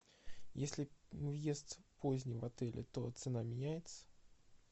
если въезд поздний в отеле то цена меняется